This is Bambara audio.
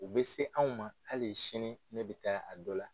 U bɛ se anw ma hali sini ne bɛ taa a dɔ la